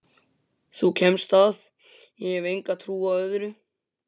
Þú kemst að, ég hef enga trú á öðru!